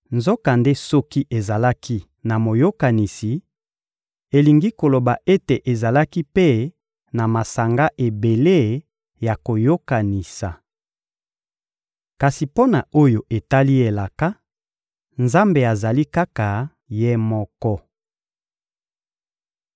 Nzokande soki ezalaki na moyokanisi, elingi koloba ete ezalaki mpe na masanga ebele ya koyokanisa. Kasi mpo na oyo etali elaka, Nzambe azali kaka Ye moko.